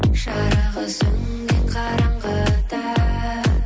жарығы сөнген қараңғыдан